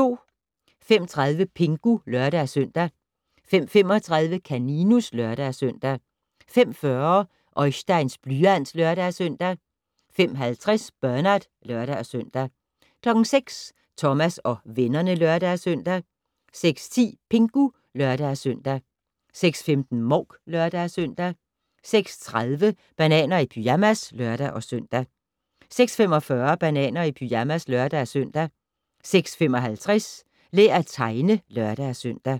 05:30: Pingu (lør-søn) 05:35: Kaninus (lør-søn) 05:40: Oisteins blyant (lør-søn) 05:50: Bernard (lør-søn) 06:00: Thomas og vennerne (lør-søn) 06:10: Pingu (lør-søn) 06:15: Mouk (lør-søn) 06:30: Bananer i pyjamas (lør-søn) 06:45: Bananer i pyjamas (lør-søn) 06:55: Lær at tegne (lør-søn)